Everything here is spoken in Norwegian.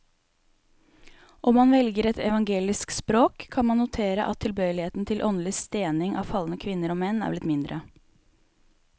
Om man velger et evangelisk språk, kan man notere at tilbøyeligheten til åndelig stening av falne kvinner og menn er blitt mindre.